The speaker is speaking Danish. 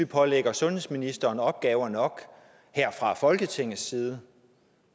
pålægger sundhedsministeren opgaver nok her fra folketingets side